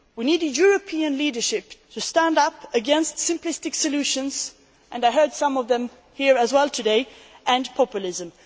We need a European leadership to stand up against simplistic solutions and I have heard some of them here today and populism.